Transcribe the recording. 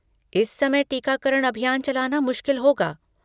इस समय टीकाकरण अभियान चलाना मुश्किल होगा।